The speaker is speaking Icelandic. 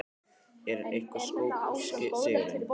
En hvað skóp sigurinn?